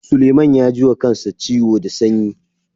Suleiman ya ji wa kansa ciwo da sayen.